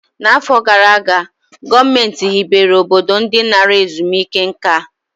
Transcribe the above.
N'afọ gara aga, gọọmentị hibere obodo ndi nara ezumike nka a